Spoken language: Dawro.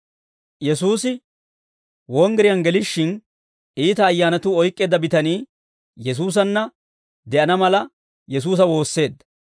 Yesuusi wonggiriyaan gelishshin, iita ayyaanatuu oyk'k'eedda bitanii Yesuusanna de'ana mala, Yesuusa woosseedda.